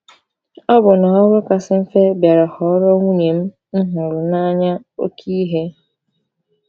Ọbụna ọrụ kasị mfe bịara ghọọrọ nwunye m m hụrụ n’anya oké ihe.